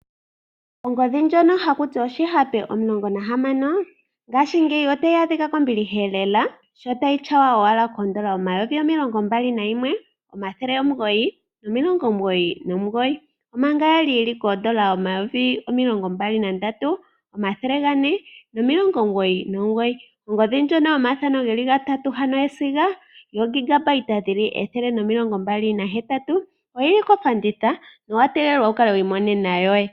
Ongodhi ndjono haku ti oshihape omulongo nahamano, ngaashingeyi otayi adhika kombiliha lela , sh0 tayi tyawa owala N$ 21 999, omanga ya li N$ 23 499. Ongodhi ndjono yomathano ge li gatatu ano yesiga yuunene woo 128 GB, oyi li kofanditha nowa tegelelwa wu kale wi imonena yoye.